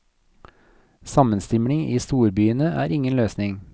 Sammenstimling i storbyene er ingen løsning.